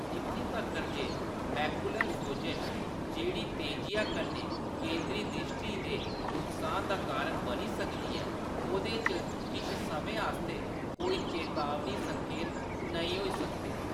इत्थें तक्कर ​​​​जे मैकुलर सोजश, जेह्‌‌ड़ी तेजिया कन्नै केंद्री द्रिश्टी दे नुक्सान दा कारण बनी सकदी ऐ, ओह्‌‌‌‌दे च किश समें आस्तै कोई चेतावनी संकेत नेईं होई सकदे ।